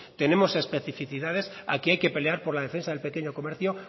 tenemos especificadas aquí hay que pelear por la defensa del pequeño comercio